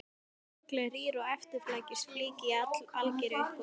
Sorglega rýr og efnislítil flík í algeru uppáhaldi hjá